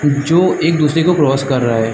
जो एक दूसरे को क्रॉस कर रहा है।